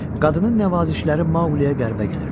Qadının nəvazişləri Maquliyə qəribə gəlirdi.